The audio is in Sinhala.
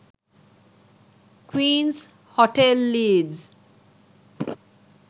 queens hotel leeds